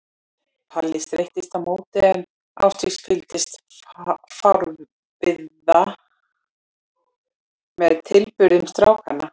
Palli streittist á móti en Ásdís fylgdist forviða með tilburðum strákanna.